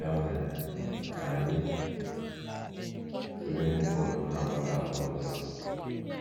Ya mere, ka anyị tụlee ihe ụfọdụ na - akpata àgwà ọjọọ a.